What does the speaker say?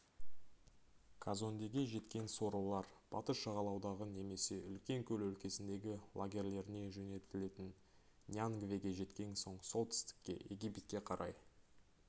казондеге жеткен сорлылар батыс жағалаудағы немесе үлкен көл өлкесіндегі лагерлеріне жөнелтілетін ньянгвеге жеткен соң солтүстікке египетке қарай